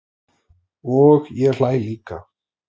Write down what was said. Og ég hlæ líka.